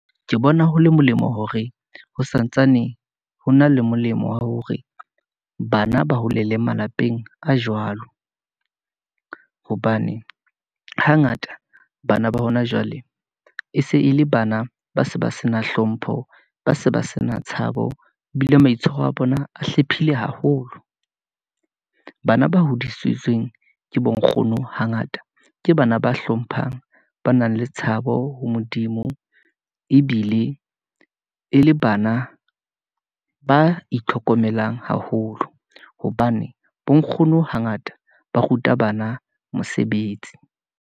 Ke bona ho le molemo hore ho santsane ho na le molemo wa hore, bana ba hole le malapeng a jwalo, hobane hangata bana ba hona jwale, e se e le bana ba se ba se na hlompho, ba se ba se na tshabo, ebile maitshwaro a bona a hlephileng haholo . Bana ba hodisitsweng ke bonkgono hangata, ke bana ba hlomphang, ba nang le tshabo ho Modimo, ebile e le bana ba itlhokomelang haholo, hobane bo nkgono hangata ba ruta bana mosebetsi.